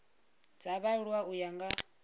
dza vhaaluwa u ya nga